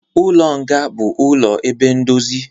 Ụlọ nga bụ ụlọ ebe ndozi